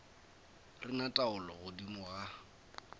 re na taolo godimo ga